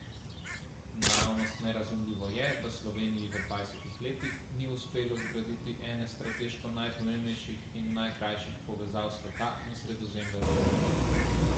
Naravnost nerazumljivo je, da Sloveniji v dvajsetih letih ni uspelo zgraditi ene strateško najpomembnejših in najkrajših povezav sveta in Sredozemlja z Evropo.